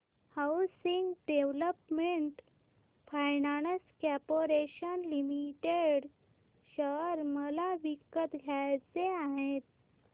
housing Development Finance Corporation Limited share मला विकत घ्यायचे आहेत